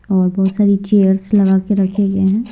और बहुत सारी चेयर्स लगा के रखे गए हैं।